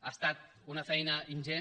ha estat una feina ingent